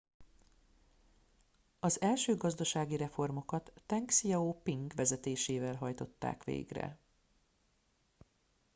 az első gazdasági reformokat teng hsziao ping vezetésével hajtották végre